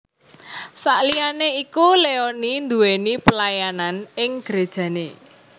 Saliyané iku Leony nduwéni pelayanan ing grejané